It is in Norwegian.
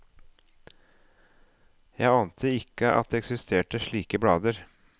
Jeg ante ikke at det eksisterte slike blader.